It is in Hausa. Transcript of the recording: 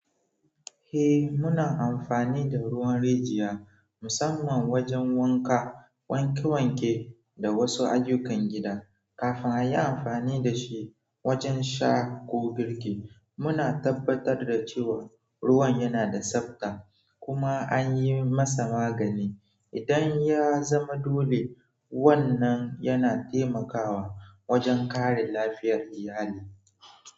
Eh, muna amfani da ruwan rijiya, musamman wajen wanka, wanke-wanke da wasu ayyukan gida. Kafin a yi amfani da shi wajen sha ko girki, muna tabbatar da cewa ruwan yana da tsabta kuma an yi masa magani. Idan ya zama dole, wannan yana taimakawa wajen kare lafiyar iyali.